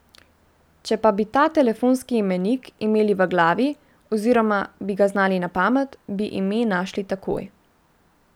Če pa bi ta telefonski imenik imeli v glavi oziroma bi ga znali na pamet, bi ime našli takoj.